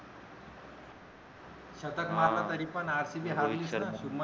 शतक मारल तरी पण अर्शदीप राहील तर